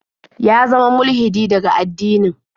Ya zama mulhidi daga addinin.